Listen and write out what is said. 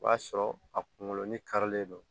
O y'a sɔrɔ a kunkolo ni karilen don